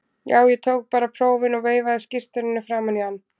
Já, ég tók bara prófin og veifaði skírteininu framan í hann.